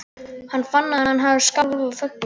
Hann fann að hann skalf af fögnuði.